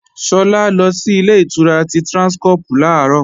Sọlá lọ sí Ilé-ìtura ti Tráńskọ́pù làárọ̀